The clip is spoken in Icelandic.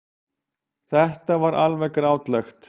Þetta var alveg grátlegt.